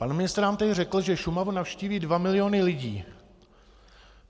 Pan ministr nám tady řekl, že Šumavu navštíví 2 miliony lidí.